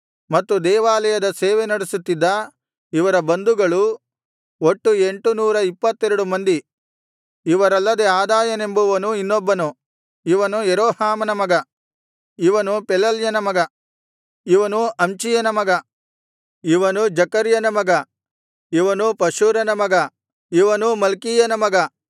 ಮತ್ತು ದೇವಾಲಯದ ಸೇವೆ ನಡೆಸುತ್ತಿದ್ದ ಇವರ ಬಂಧುಗಳು ಒಟ್ಟು ಎಂಟುನೂರ ಇಪ್ಪತ್ತೆರಡು ಮಂದಿ ಇವರಲ್ಲದೆ ಅದಾಯನೆಂಬುವನು ಇನ್ನೊಬ್ಬನು ಇವನು ಯೆರೋಹಾಮನ ಮಗ ಇವನು ಪೆಲಲ್ಯನ ಮಗ ಇವನು ಅಮ್ಚೀಯನ ಮಗ ಇವನು ಜೆಕರ್ಯನ ಮಗ ಇವನು ಪಷ್ಹೂರನ ಮಗ ಇವನು ಮಲ್ಕೀಯನ ಮಗ